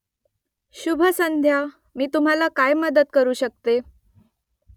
शुभ संध्या . मी तुम्हाला काय मदत करू शकते ?